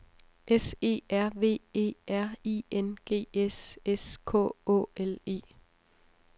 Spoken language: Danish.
S E R V E R I N G S S K Å L E